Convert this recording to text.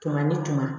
Kɛmɛ ni kɛmɛ